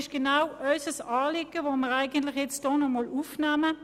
]» Dies entspricht genau unserem Anliegen, welches wir hier nochmals aufgreifen.